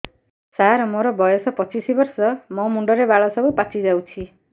ସାର ମୋର ବୟସ ପଚିଶି ବର୍ଷ ମୋ ମୁଣ୍ଡରେ ବାଳ ସବୁ ପାଚି ଯାଉଛି